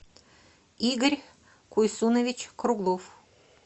игорь куйсунович круглов